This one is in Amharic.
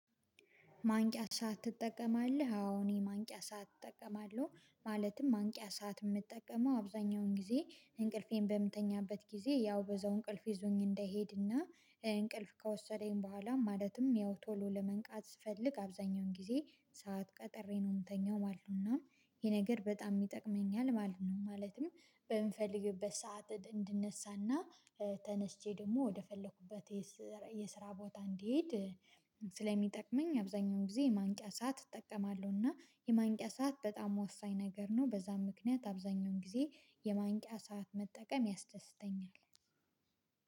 ማንቂያ ሰዓት ትጠቀማለህ? አዎ እኔ ማንቂያ ሰዓት እጠቀማለሁ። ማለትም ማንቂያ ሰዓት የምጠቀመው አብዛኛውን ጊዜ እንቅልፌን በምትተኛበት ጊዜ ያው በዛው እንቅልፍ ይዞኝ እንደሄድና እንቅልፍ ከወሰደኝ በኋላ ማለትም ያው ቶሎ ለመንቃት ስፈልግ አብዛኛውን ጊዜ ሰዓት ቀጥሬ ነው የምተኛው ማለትነውና ይሄ ነገር በጣም ይጠቅመኛል ማለት ነው። ማለትም በምንፈልግበት ሰዓት እንድነሳና ተነስቼ ደግሞ ወደፈለኩበት የስራ ቦታ እንዲሄድ ስለሚጠቅመኝ አብዛኛውን ጊዜ የማንቂያ ሰዓት እጠቀማለሁና የማንቂያ ሰዓት በጣም ወሳኝ ነገር ነው። በዛም ምክንያት አብዛኛውን ጊዜ የማንቂያ ሰዓት መጠቀም ያስደስተኛል።